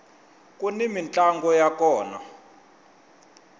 kuni mintlango ya kona